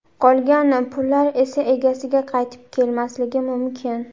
Qolgan pullar esa egasiga qaytib kelmasligi mumkin.